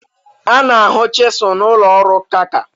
a na-ahụ chisul n'ụlọ ọrụ nka nka